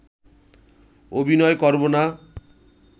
অভিনয় করব না